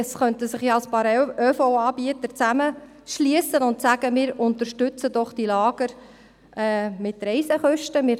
Es könnten sich ja ein paar ÖV-Anbieter zusammenschliessen und die Lager mit Reisekosten unterstützen.